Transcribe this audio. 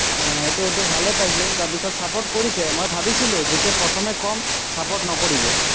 আহ সেইটো, সেইটো ভালেই পাইছে। তাৰপিছত support কৰিছে। মই ভাৱিছিলো, যেতিয়া প্ৰথমে কম support নকৰিব।